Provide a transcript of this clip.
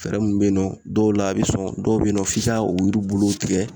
Fɛɛrɛ minnu bɛ yen nɔ dɔw la a bɛ sɔn dɔw bɛ yen nɔ f'i ka o yiri bolow tigɛ